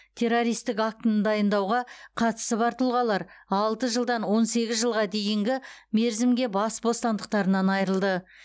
террористік актіні дайындауға қатысы бар тұлғалар алты жылдан он сегіз жылға дейінгі мерзімге бас бостандықтарынан айырылды